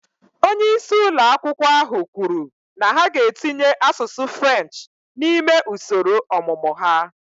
Onye isi ụlọ akwụkwọ ahụ kwuru na ha ga-etinye asụsụ French n'ime usoro ọmụmụ ha